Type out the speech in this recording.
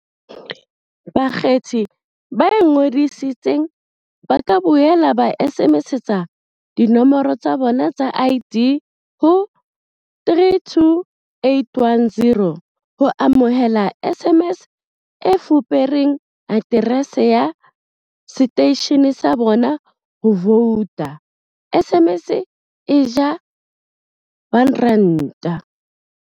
Bakgethi ba ingodisitseng ba ka boela ba SMSetsa dinomoro tsa bona tsa ID ho 32810 ho amohela SMS e fupereng aterese ya seteishene sa bona sa ho vouta, SMS e ja R1.